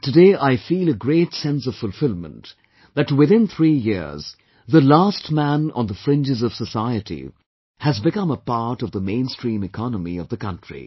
And today I feel a great sense of fulfilment, that within three years, the last man on the fringes of society has become a part of the mainstream economy of the country